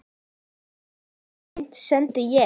Og hvaða menn sendi ég?